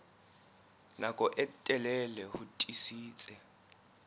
nako e telele ho tiisitse